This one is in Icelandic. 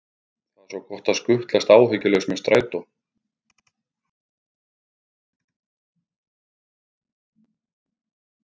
Það er svo gott að skutlast áhyggjulaus með strætó.